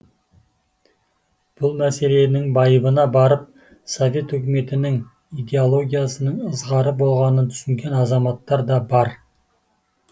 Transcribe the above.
бұл мәселенің байыбына барып совет үкіметінің идеологиясының ызғары болғанын түсінген азаматтар да бар